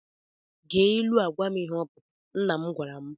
Gee ilu a gwam ihe ọ pụtara, nna m gwara m.